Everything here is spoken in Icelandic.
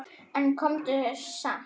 En komdu samt!